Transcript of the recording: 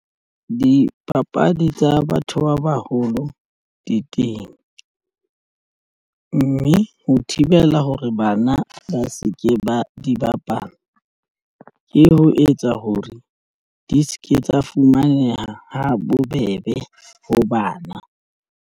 Dipapadi tsa batho ba baholo di teng, mme ho thibela hore bana ba se ke ba di bapala ke ho etsa hore di se ke tsa fumaneha ha bobebe ho bana.